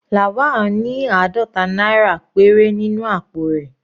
Lawal ní àádọta náírà péré nínú àpò rẹ̀.